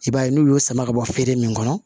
I b'a ye n'u y'o sama ka bɔ feere min kɔnɔ